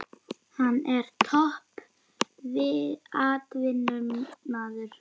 Hann er topp atvinnumaður.